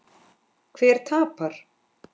Hver tapar?